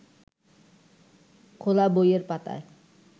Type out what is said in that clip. খোলা বইয়ের পাতায়